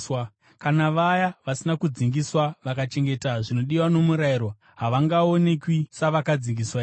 Kana vaya vasina kudzingiswa vakachengeta zvinodiwa nomurayiro, havangaonekwi savakadzingiswa here?